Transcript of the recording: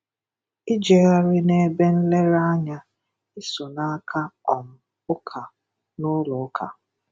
ijegharị n'ebe nlere anya, iso na-aka um ụka n'ụlọụka